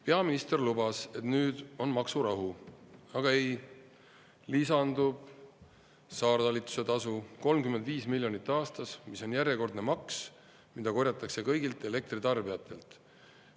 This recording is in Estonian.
Peaminister lubas, et nüüd on maksurahu, aga ei, lisandub saartalituse tasu 35 miljonit aastas, mis on järjekordne maks, mida korjatakse kõigilt elektritarbijatelt.